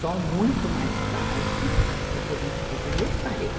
Só muito mais tarde, é que a gente, daí eu sarei.